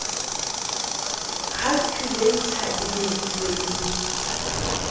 khalkhuleita e behilwe e le